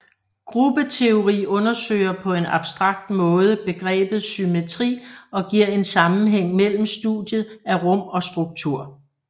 Gruppeteori undersøger på en abstrakt måde begrebet symmetri og giver en sammenhæng mellem studiet af rum og struktur